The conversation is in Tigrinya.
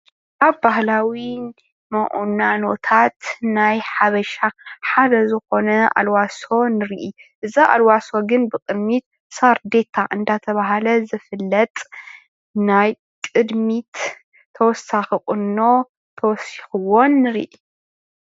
እዚ ምስሊ ባህላዊ ቁናኖ ኮይኑ ናይ ቅድሚት ሳርዴታ ዘለዎ እዩ።